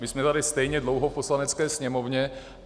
My jsme tady stejně dlouho v Poslanecké sněmovně.